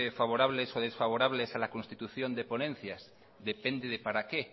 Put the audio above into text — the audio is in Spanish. favorables o desfavorables a la constitución de ponencias depende de para qué